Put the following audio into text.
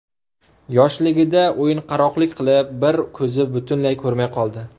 Yoshligida o‘yinqaroqlik qilib, bir ko‘zi butunlay ko‘rmay qoldi.